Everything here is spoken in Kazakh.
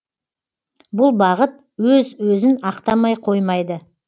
бұл бағыт өз өзін ақтамай қоймайды